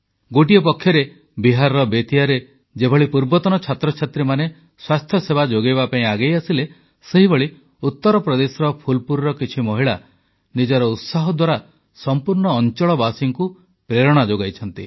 ଗୋଟିଏ ପଟେ ବିହାରର ବେତିଆରେ ଯେଭଳି ପୂର୍ବତନ ଛାତ୍ରଛାତ୍ରୀ ସ୍ୱାସ୍ଥ୍ୟସେବା ଯୋଗାଇବା ପାଇଁ ଆଗେଇ ଆସିଲେ ସେହିଭଳି ଉତ୍ତରପ୍ରଦେଶର ଫୁଲପୁରର କିଛି ମହିଳା ନିଜର ଉତ୍ସାହ ଦ୍ୱାରା ସମ୍ପୂର୍ଣ୍ଣ ଅଂଚଳବାସୀଙ୍କୁ ପ୍ରେରଣା ଯୋଗାଇଛନ୍ତି